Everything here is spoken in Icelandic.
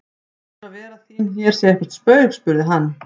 Heldurðu að vera þín hér sé eitthvert spaug spurði hann.